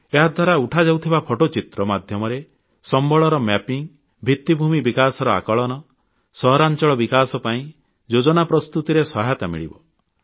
ଏହାଦ୍ୱାରା ଉଠାଯାଉଥିବା ଫଟୋଚିତ୍ର ମାଧ୍ୟମରେ ସମ୍ବଳର ମ୍ୟାପିଂ ଭିତ୍ତିଭୂମି ବିକାଶର ଆକଳନ ସହରାଂଚଳ ବିକାଶ ପାଇଁ ଯୋଜନା ପ୍ରସ୍ତୁତିରେ ସହାୟତା ମିଳିବ